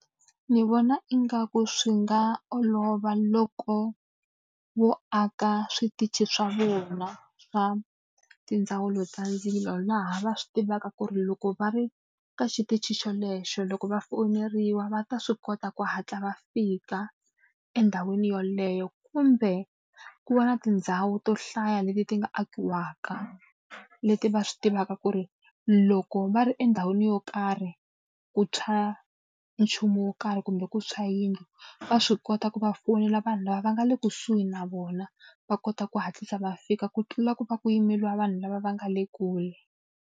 Ndzi vona ingaku swi nga olova loko vo aka switichi swa vona va tindzawulo ta ndzilo, laha va swi tivaka ku ri loko va ri eka xitichi xolexo loko va foyineriwa va ta swi kota ku hatla va fika endhawini yeleyo. Kumbe ku va na tindhawu to hlaya leti ti nga akiwaka leti va swi tivaka ku ri loko va ri endhawini yo karhi ku tshwa nchumu wo karhi kumbe ku tshwa yindlu, va swi kota ku va fonela vanhu lava va nga le kusuhi na vona, va kota ku hatlisa va fika ku tlula ku va ku yimeriwa vanhu lava va nga le kule.